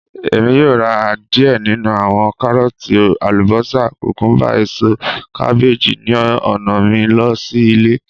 Emi yoo ra diẹ ninu awọn Karooti, ​​alubosa, kukumba, eso kabeeji ni ọna mi lọ si ile